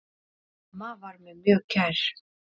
Amma var mér mjög kær.